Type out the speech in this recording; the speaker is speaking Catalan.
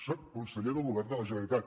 soc conseller del govern de la generalitat